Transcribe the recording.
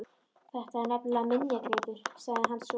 Þetta er nefnilega minjagripur sagði hann svo.